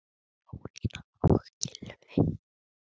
Jónína og Gylfi.